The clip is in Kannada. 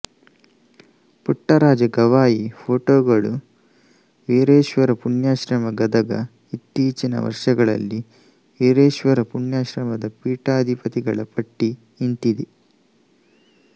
ಪುಟ್ಟರಾಜ ಗವಾಯಿ ಪೋಟೊಗಳು ವೀರೇಶ್ವರ ಪುಣ್ಯಾಶ್ರಮ ಗದಗ ಇತ್ತೀಚಿನ ವರ್ಷಗಳಲ್ಲಿ ವೀರೇಶ್ವರ ಪುಣ್ಯಾಶ್ರಮದ ಪೀಠಾಧಿಪತಿಗಳ ಪಟ್ಟಿ ಇಂತಿದೆ